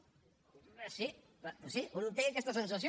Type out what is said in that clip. sí doncs sí un té aquesta sensació